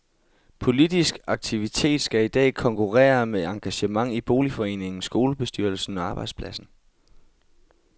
Politisk aktivitet skal i dag konkurrere med engagement i boligforeningen, skolebestyrelsen og arbejdspladsen.